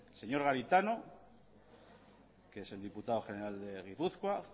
señor garitano que es el diputado general de gipuzkoa